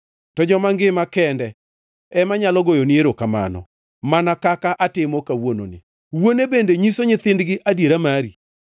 To joma ngima, kende ema nyalo goyoni erokamano, mana kaka atimo kawuononi; wuone bende nyiso nyithindgi adiera mari.